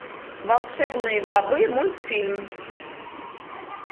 волшебные бобы мультфильм